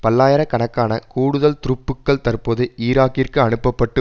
பல்லாயிர கணக்கான கூடுதல் துருப்புக்கள் தற்போது ஈராக்கிற்கு அனுப்ப பட்டு